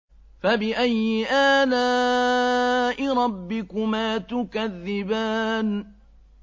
فَبِأَيِّ آلَاءِ رَبِّكُمَا تُكَذِّبَانِ